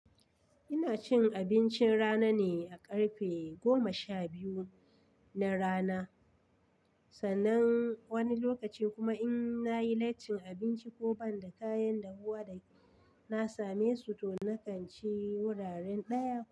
Ina cin abincin rana ne a ƙarfe goma sha biyu na rana. Sannan wani lokacin kuma in na yi laicin abinci ko ban da kayan da huwa da na same su to na kan ci wuraren ɗaya.